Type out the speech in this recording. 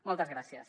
moltes gràcies